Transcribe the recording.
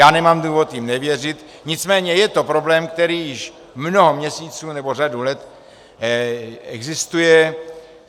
Já nemám důvod jim nevěřit, nicméně je to problém, který již mnoho měsíců nebo řadu let existuje.